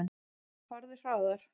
Farðu hraðar.